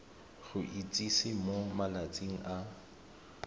go itsise mo malatsing a